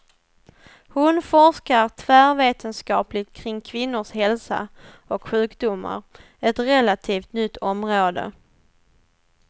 Hon forskar tvärvetenskapligt kring kvinnors hälsa och sjukdomar, ett relativt nytt område.